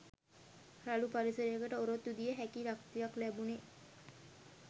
රළු පරිසරයකට ඔරොත්තු දිය හැකි ශක්තියක් ලැබුනේ